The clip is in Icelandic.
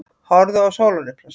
Horfðu á sólarupprásina.